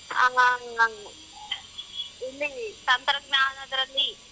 ಹ ನಾನ್ ಇಲ್ಲಿ ತಂತ್ರಜ್ಞಾನದ್ರಲ್ಲಿ.